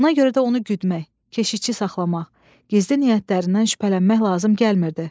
Buna görə də onu güdmək, keşikçi saxlamaq, gizli niyyətlərindən şübhələnmək lazım gəlmirdi.